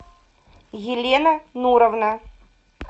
елена нуровна